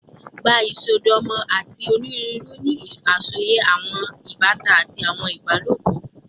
Gba isọdọmọ ati oniruuru ni asọye awọn ibatan ati awọn ibalopọ